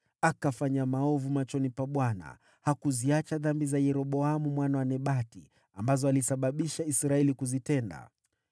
Akafanya maovu machoni pa Bwana . Hakuziacha dhambi za Yeroboamu mwana wa Nebati, ambazo alisababisha Israeli kuzitenda.